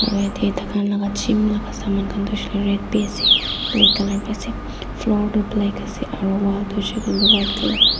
Aro yate taikhan laga gym laga saman khan toh shele red bi ase black colour bi ase floor toh black ase aro wall toh hoishe koile white colour khan ase.